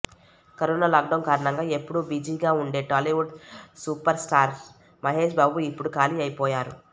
corona lockdown కారణంగా ఎప్పుడూ బిజీగా ఉండే టాలీవుడ్ సూపర్స్టార్ మహేశ్ బాబు ఇప్పుడు ఖాళీ అయిపోయారు